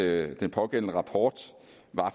at den pågældende rapport